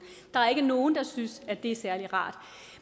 der er ikke nogen der synes at det er særlig rart